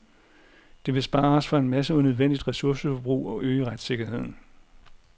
Det vil spare os for en masse unødvendigt ressourceforbrug og øge retssikkerheden.